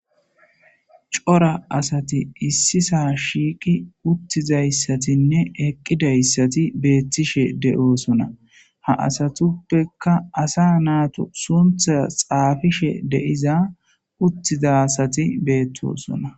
Cora asati issi sa shiiqi uttizayssatinne eqqidayssati beettishe de7oosona ha asatuppekka asa naatu suntha xaafishe deiza uttiza asati beettosona.